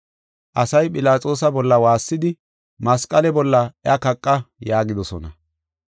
Asay Philaxoosa bolla waassidi, “Masqale bolla iya kaqa” yaagidosona.